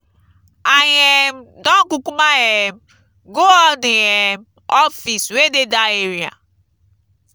i um don kukuma um go all the um office wey dey dat area.